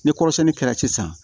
Ni kɔrɔsɛnni kɛra sisan